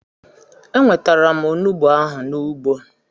Enwetara m Onugbo ahụ n'ugbo